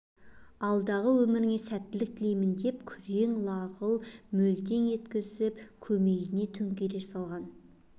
алдағы өміріңе сәттілік тілеймін деп күрең лағыл мөлтең еткізіп көмейіне төңкере салған